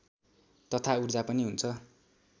तथा ऊर्जा पनि हुन्छ